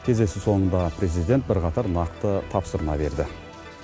кездесу соңында президент бірқатар нақты тапсырма берді